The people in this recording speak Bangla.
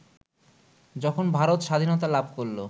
যখন ভারত স্বাধীনতা লাভ করলো